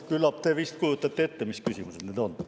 Küllap te kujutate ette, mis need küsimused on.